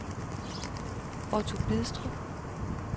Otto Bidstrup